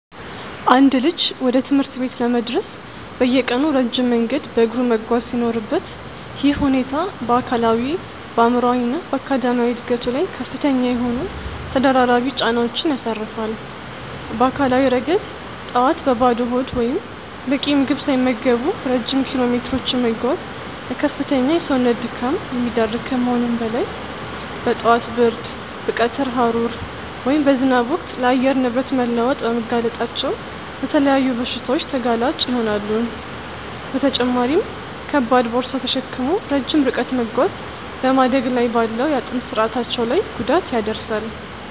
አንድ ልጅ ወደ ትምህርት ቤት ለመድረስ በየቀኑ ረጅም መንገድ በእግሩ መጓዝ ሲኖርበት፣ ይህ ሁኔታ በአካላዊ፣ በአእምሯዊ እና በአካዳሚያዊ ዕድገቱ ላይ ከፍተኛ የሆኑ ተደራራቢ ጫናዎችን ያሳርፋል። በአካላዊ ረገድ፣ ጠዋት በባዶ ሆድ ወይም በቂ ምግብ ሳይመገቡ ረጅም ኪሎሜትሮችን መጓዝ ለከፍተኛ የሰውነት ድካም የሚዳርግ ከመሆኑም በላይ፣ በጠዋት ብርድ፣ በቀትር ሐሩር ወይም በዝናብ ወቅት ለአየር ንብረት መለዋወጥ በመጋለጣቸው ለተለያዩ በሽታዎች ተጋላጭ ይሆናሉ፤ በተጨማሪም ከባድ ቦርሳ ተሸክሞ ረጅም ርቀት መጓዝ በማደግ ላይ ባለው የአጥንት ስርአታቸው ላይ ጉዳት ያደርሳል።